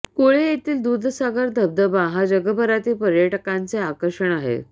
कुळे येथील दूधसागर धबधबा हा जगभरातील पर्यटकांचे आकर्षण आहे